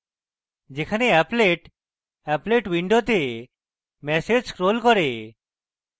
যেখানে applet applet window message scrolls করে